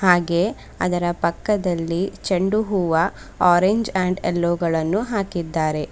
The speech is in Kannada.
ಹಾಗೆ ಅದರ ಪಕ್ಕದಲ್ಲಿ ಚೆಂಡು ಹೂವ ಆರೆಂಜ್ ಅಂಡ್ ಎಲ್ಲೋ ಗಳನ್ನು ಹಾಕಿದ್ದಾರೆ.